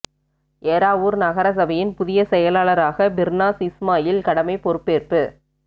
ஏறாவூர் நகர சபையின் புதிய செயலாளராக பிர்னாஸ் இஸ்மாயில் கடமை பொறுப்பேற்பு